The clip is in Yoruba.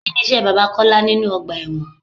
Kini iṣẹ́ bàbá Kọ́lá nínú ọgbà ẹ̀wọ̀n?